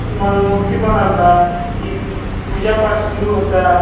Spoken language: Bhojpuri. ति मन मूर्ति बनल बा ई पूजा-पाठ शुरू होता।